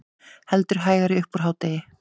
Heldur hægari upp úr hádegi